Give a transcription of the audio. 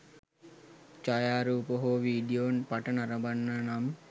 ඡායාරූප හෝ වීඩියෝ පට නරඹන්න නම්